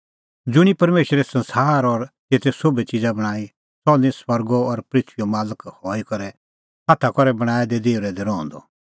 ज़ुंणी परमेशरै संसार और तेते सोभै च़िज़ा बणांईं सह निं स्वर्गो और पृथूईओ मालक हई करै हाथा करै बणांऐं दै देहुरै दी रहंदअ